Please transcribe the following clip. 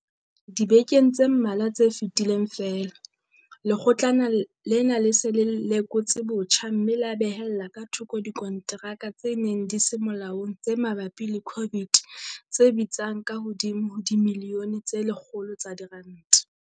Dibekeng tse mmalwa tse fetileng feela, Lekgotlana lena le se le lekotse botjha mme la behella ka thoko dikonteraka tse neng di se molaong tse mabapi le COVID tse bitsang ka hodimo ho dimilione tse 100 tsa diranta.